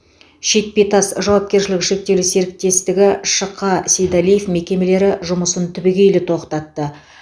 шетпе тас жауапкершілігі шектеулі серіктестігі шқ сейдалиев мекемелері жұмысын түбегейлі тоқтатты